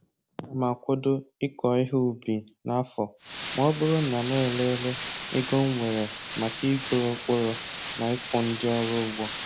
Ana m akwado ịkọ ihe ubi n'afọ ma ọ bụrụ na m elele ego m nwere maka igoro mkpụrụ na ịkwụ ndi ọrụ ụgwọ